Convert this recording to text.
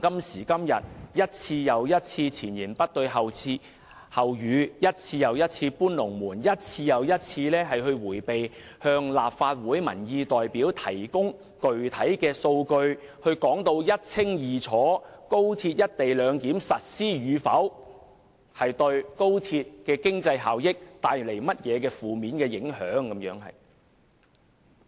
政府一次又一次前言不對後語，一次又一次"搬龍門"，一次又一次迴避向立法會的民意代表提供具體數據，清楚說明高鐵"一地兩檢"實施與否對經濟效益有何負面影響。